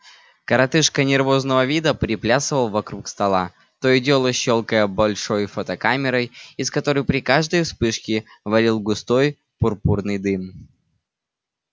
коротышка нервозного вида приплясывал вокруг стола то и дело щёлкая большой фотокамерой из которой при каждой вспышке валил густой пурпурный дым